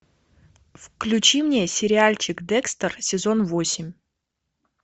включи мне сериальчик декстер сезон восемь